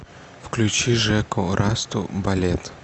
включи жеку расту балет